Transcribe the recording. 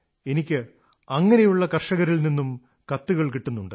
എനിക്ക് അങ്ങനെയുള്ള കർഷകരിൽ നിന്നും കത്തുകൾ കിട്ടുന്നുണ്ട്